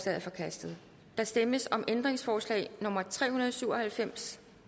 er forkastet der stemmes om ændringsforslag nummer tre hundrede og syv og halvfems